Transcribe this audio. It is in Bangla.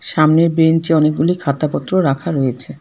সামনের বেঞ্চে অনেকগুলি খাতা পত্র রাখা রয়েছে।